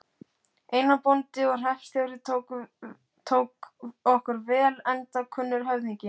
Einar, bóndi og hreppstjóri, tók okkur vel enda kunnur höfðingi.